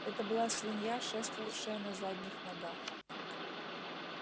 это была свинья шествовавшая на задних ногах